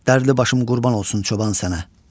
Dərdli başım qurban olsun çoban sənə.